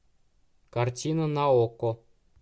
картина на окко